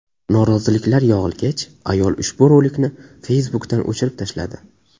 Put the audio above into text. Noroziliklar yog‘ilgach, ayol ushbu rolikni Facebook’dan o‘chirib tashladi.